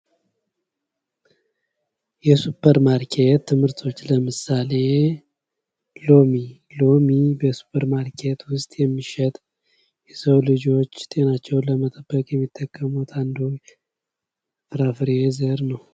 የሱፐር ማርኬት ምርቶች ለምሳሌ ሎሚ ሎሚ በሱፐር ማርኬት ውስጥ የሚሸጥ የሰው ልጆች ጤንነታቸውን ለመጠበቅ የሚጠቀሙበት አንዱ ፍራፍሬ ዘር ነው።